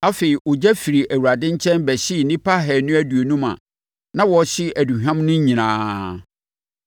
Afei, ogya firi Awurade nkyɛn bɛhyee nnipa ahanu aduonum a na wɔrehye aduhwam no nyinaa.